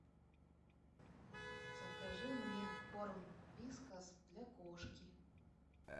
закажи мне корм вискас для кошки